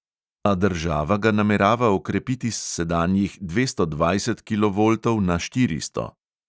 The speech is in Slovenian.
A država ga namerava okrepiti s sedanjih dvesto dvajset kilovoltov na štiristo.